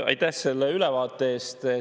Aitäh selle ülevaate eest!